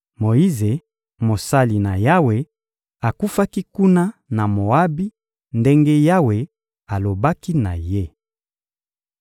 Moyize, mosali na Yawe, akufaki kuna na Moabi ndenge Yawe alobaki na ye.